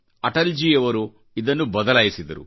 ಅಟಲ್ ಜೀ ಯವರು ಇದನ್ನುಬದಲಾಯಿಸಿದರು